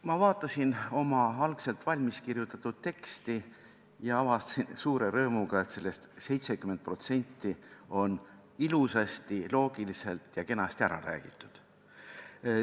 Ma vaatasin oma algselt valmis kirjutatud teksti ja avastasin suure rõõmuga, et sellest 70% on ilusasti, loogiliselt ja kenasti ära räägitud.